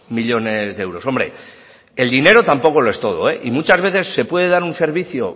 millónes de euros hombre el dinero tampoco lo es todo y muchas veces se puede dar un servicio